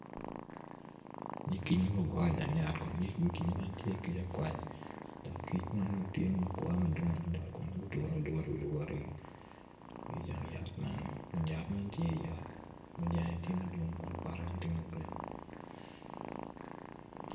Nyig kic mogo ogure ijang yat kun nyig kic man tye akwac dok kic man tye ma ogure madwong adada kun mogo odure adura wi luwotigi ki ijang yat man kun yat man tye yat munyak jange tye madwong kun bote wney tye ma gurin